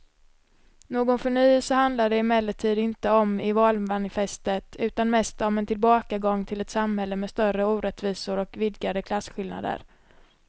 Någon förnyelse handlar det emellertid inte om i valmanifestet utan mest om en tillbakagång till ett samhälle med större orättvisor och vidgade klasskillnader.